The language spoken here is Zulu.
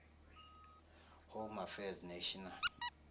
home affairs national